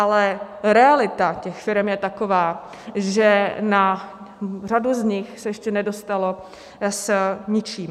Ale realita těch firem je taková, že na řadu z nich se ještě nedostalo s ničím.